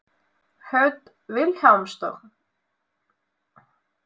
Hödd Vilhjálmsdóttir: Hvernig fannst þér Skaupið?